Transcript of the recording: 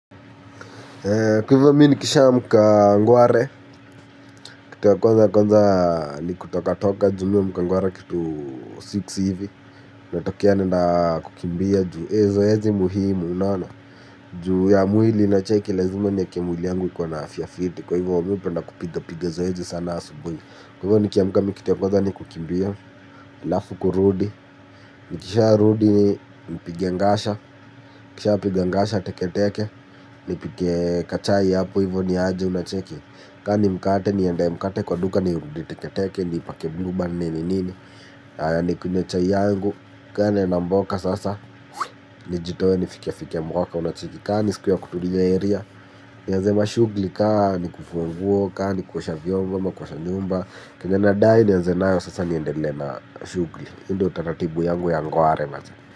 Kwa hivyo mi nikisha amka ngware. Kitu ya kwanza nikutoka toka ju mih huamka ngware kitu six hivi. Natokea naenda kukimbia ju ezoezi muhimu unaona ju ya mwili na cheki lazima niekemwili yangu ikiwana afya fiti. Kwa hivyo mi hupenda kupiga piga zoezi sana asubuni. Kwa hivyo nikiamka mikitu ya kwa hivyo ni kukimbia lafu kurudi nikisha rudi nipige ngasha. Nikisha piga ngasha teke teke. Nipike ka chai hapo hivyo ni aje unacheki. Kani mkate ni endee mkate kwa duka ni rudi teketeke. Ni ipake bluband nini nini. Ni kunywe chai yangu. Kana naenda mboka sasa. Nijitoe nifike fike mboka unacheki. Kani siku ya kutuli area nianze mashugli kaa ni kufungua nguo ka ni kusha vyomba ka kusha nyumba. Kenye nadai nianze nayo sasa ni endele na mashugli. Inde utaratibu yangu ya ngware maze.